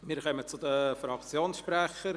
Wir kommen zu den Fraktionssprechern.